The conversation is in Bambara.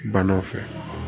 Balo fɛ